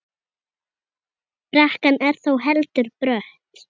Brekkan er þó heldur brött.